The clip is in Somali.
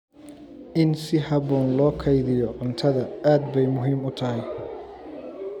In si habboon loo kaydiyo cuntada aad bay muhiim u tahay.